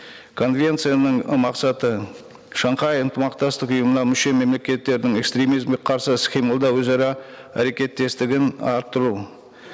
конвенцияның ы мақсаты шанхай ынтымақтастық ұйымына мүше мемлекеттердің экстремизмге қарсы іс қимылда өзара әрекеттестігін арттыру